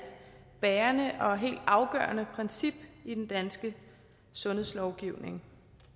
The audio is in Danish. bærende og helt afgørende princip i den danske sundhedslovgivning